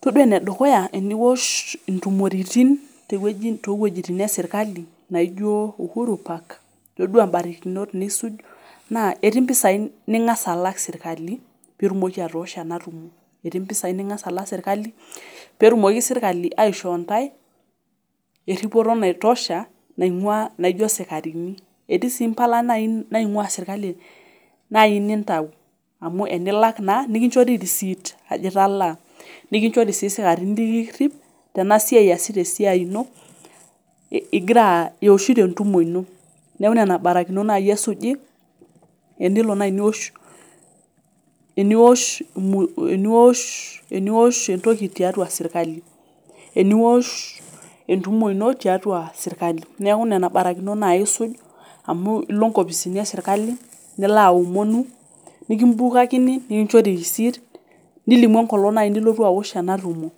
Todua enedukuya teniwosh ntomurotin towuejitin eserkali naijo uhuru park todua barikinot niya na ketii mpisai nilak serkali pitumoki atoosho enatumo, etii mpisai ningasa alak serkali petumoki serkali aishoo ntae eripoto naitosha naijo sikarini, etii si mpala naingua serkali enikinchori nikinchori risit ajo italaa nikichori si sikarini likirip easita esiai ino igira ioshito entumo ino, neaku nonabarikinot nai esuji enilonai niwosh eniwosh entoki tiatua serkali eniwosh entumo ino tiatua serkali neaku nena barikinot nai isuj amu ilo nkopisini eserkali nilo aomonu nikimbukakini nikichori risit nilimu enkolong' nai nilotu awosh enasimu